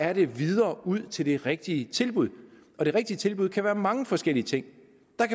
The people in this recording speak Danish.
er det videre ud til det rigtige tilbud og det rigtige tilbud kan være mange forskellige ting